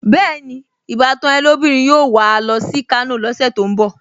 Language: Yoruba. Bẹ́ẹ̀ni, ìbátan ẹ́ lóbìnrin yóò wà á lọ sí Kano lọ́sẹ̀ tó ń bọ̀